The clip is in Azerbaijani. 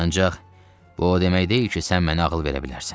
Ancaq bu o demək deyil ki, sən mənə ağıl verə bilərsən.